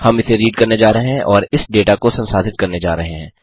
हम इसे रीड करने जा रहे हैं और इस डेटा को संसाधित करने जा रहे हैं